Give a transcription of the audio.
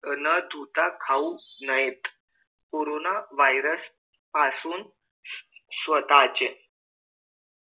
न धुता खाऊ नयेत कोरोना virus पासून स्वतःचे